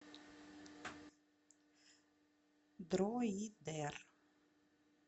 дроидер